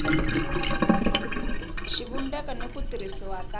xivumbeko n ku tirhisiwa ka